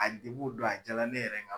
A o don a jala ne yɛrɛ ka